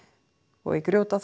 og í